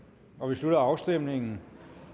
slutter afstemningen